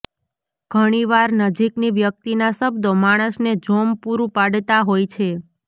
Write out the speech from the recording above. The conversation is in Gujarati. ઘણી વાર નજીકની વ્યક્તિના શબ્દો માણસને જોમ પૂરું પાડતાં હોય છે